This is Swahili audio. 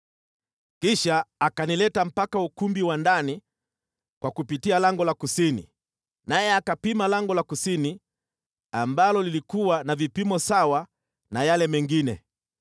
Kisha akanileta mpaka ukumbi wa ndani kwa kupitia lango la kusini, naye akapima lango la kusini, ambalo lilikuwa na vipimo sawa na yale mengine.